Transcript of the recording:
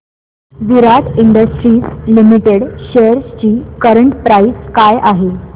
विराट industries limited shares ची current price काय आहे